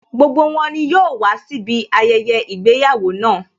Gbogbo wọn ni yóò wàá síbi ayẹyẹ ìgbéyàwó náà